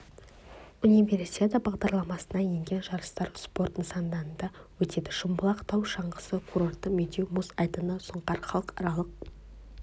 универсиада бағдарламасына енген жарыстар спорт нысанында өтеді шымбұлақ тау шаңғысы курорты медеу мұз айдыны сұңқар халықаралық